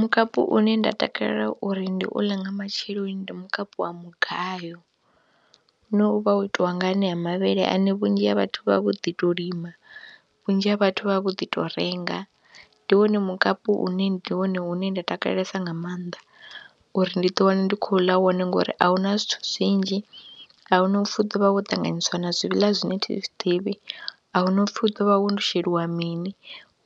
Mukapu une nda takalela uri ndi u ḽe nga matsheloni ndi mukapu wa mugayo une u vha wo itiwa nga anea mavhele ane vhunzhi ha vhathu vha vha vho ḓi tou lima, vhunzhi ha vhathu vha vha vho ḓi tou renga. Ndi wone mukapu une ndi wone une nda takalelesa nga maanḓa uri ndi ḓiwane ndi khou ḽa wone ngori a u na zwithu zwinzhi, a hu na u pfhi u ḓo vha wo ṱanganyiswa na zwiḽa zwine thi zwi ḓivhi, a hu na u pfhi u ḓo vha wo wo sheliwa mini,